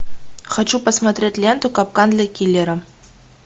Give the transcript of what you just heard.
хочу посмотреть ленту капкан для киллера